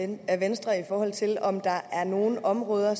ud af venstre i forhold til om der er nogle områder